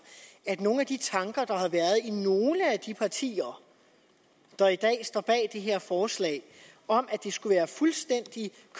at nogle af de tanker der har været i nogle af de partier der i dag står bag det her forslag om at det skulle være fuldstændig